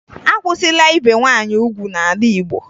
Akwụsịla ibe nwaanyị ugwu n'ala Igbo